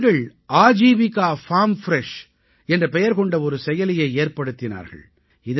இந்தப் பெண்கள் Aajeevika farm fresh என்ற பெயர் கொண்ட ஒரு செயலியை ஏற்படுத்தினார்கள்